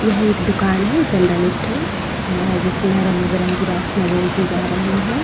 यह एक दुकान है जनरल स्टोर अ जिसमें रंग बिरंगी राखियंयाँ बेची जा रही हैं।